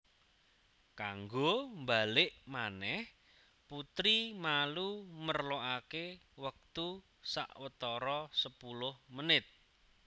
Kanggo mbalik manèh putri malu merlokaké wektu watara sepuluh menit